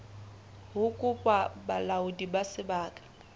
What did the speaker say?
ho kopa bolaodi ba sebaka